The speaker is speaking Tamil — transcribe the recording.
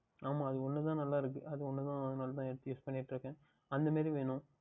ஆமாம் அது ஓன்று தான் நன்றாக இருக்கும் அது ஒன்று தான் அதுனால் தான் எடுத்து Use பண்ணிக்கொண்டு இருக்கின்றேன்